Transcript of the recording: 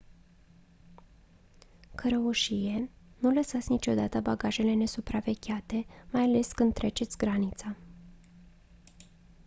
cărăușie nu lăsați niciodată bagajele nesupravegheate mai ales când treceți granița